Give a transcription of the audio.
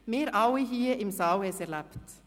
Wir alle hier im Saal haben es erlebt.